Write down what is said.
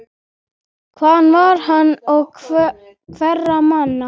Hvaðan var hann og hverra manna?